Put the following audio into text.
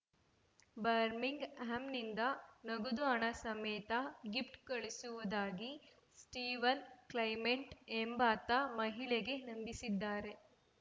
ಬರ್ಮಿಂಗ್‌ ಹ್ಯಾಂನಿಂದ ನಗದು ಹಣ ಸಮೇತ ಗಿಫ್ಟ್‌ ಕಳಿಸುವುದಾಗಿ ಸ್ಟೀವನ್‌ ಕ್ಲೈಮೆಂಟ್‌ ಎಂಬಾತ ಮಹಿಳೆಗೆ ನಂಬಿಸಿದ್ದಾರೆ